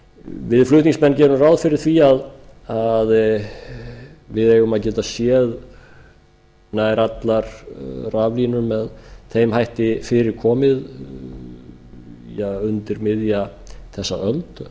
við flutningsmenn gerum ráð fyrir því að við eigum að geta séð nær allar raflínur með þeim hætti fyrir komið undir miðja þessa öld það